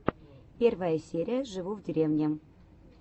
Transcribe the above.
первая серия живу в деревне